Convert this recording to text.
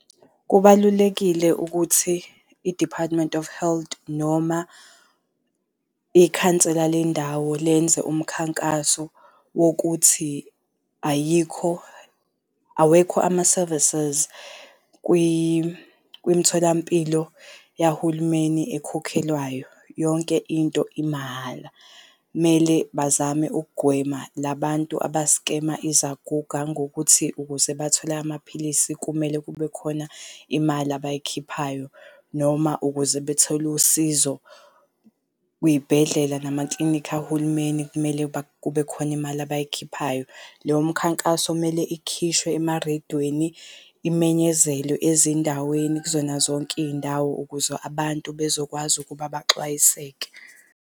Kubalulekile ukuthi, i-Department of Health, noma ikhansela lendawo lenze umkhankaso wokuthi ayikho, awekho ama-services kwimtholampilo yahulumeni ekhokhelwayo, yonke into imahhala. Mele bazame ukugwema labantu abaskema izaguga ngokuthi ukuze bathole amaphilisi kumele kubekhona imali abayikhiphayo noma ukuze bethole usizo kwiy'bhedlela namaklinikhi ahulumeni kumele kube khona imali abayikhiphayo. Leyo mkhankaso kumele ikhishwe emarediyweni, imenyezelwe ezindaweni kuzona zonke iy'ndawo ukuze abantu bezokwazi ukuba baxwayiseke.